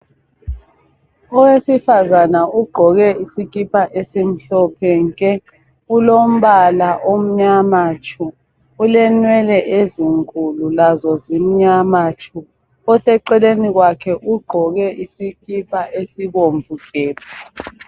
Owesifazana ugqoke isikipa esimhlophe nke. Ulombala omnyama tshu, Ulenwele ezinkulu lazo zimyama tshu. Oseceni kwakhe ugqoke isikipa esibomvu gebhu.